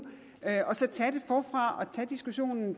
og så tage det forfra og tage diskussionen